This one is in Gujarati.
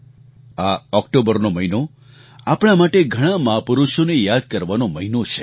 આ ઑક્ટોબરનો મહિનો આપણા માટે ઘણા મહાપુરુષોને યાદ કરવાનો મહિનો છે